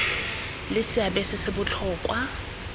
le seabe se se botlhokwa